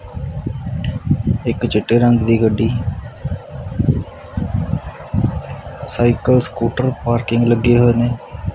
ਇੱਕ ਚਿੱਟੇ ਰੰਗ ਦੀ ਗੱਡੀ ਸਾਈਕਲ ਸਕੂਟਰ ਪਾਰਕਿੰਗ ਲੱਗੇ ਹੋਏ ਨੇ।